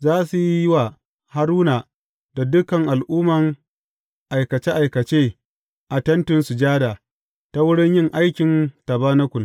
Za su yi wa Haruna da dukan al’umma aikace aikace a Tentin Sujada, ta wurin yin aikin tabanakul.